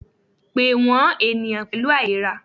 Pe wọn eniyan pẹlu ailera!